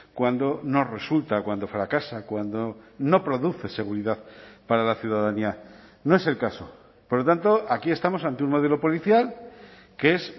cuando no resulta cuando fracasa cuando no produce seguridad para la ciudadanía no es el caso por lo tanto aquí estamos ante un modelo policial que es